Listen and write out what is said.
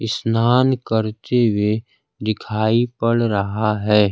स्नान करते हुए दिखाई पड़ रहा है।